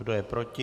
Kdo je proti?